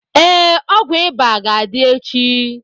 Ee, ọgwụ ịba ga-adị echi.